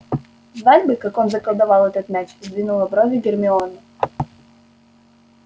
знать бы как он заколдовал этот мяч сдвинула брови гермиона